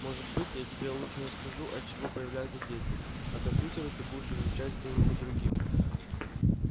может быть я тебе лучше расскажу от чего появляются дети а компьютеры ты будешь изучать с кем-нибудь другим